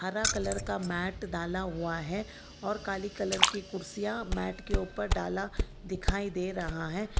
हरा कलर का मैट डाला हुआ है और काली कलर की कुर्सियां मैट के ऊपर डाला दिखाई दे रहा हैं।